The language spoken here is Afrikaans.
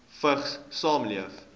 vigs saamleef